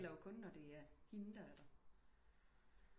Det gælder jo kun når det er hende der er der